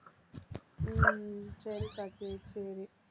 உம் சரிக்கா சரி, சரி